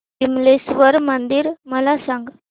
विमलेश्वर मंदिर मला सांग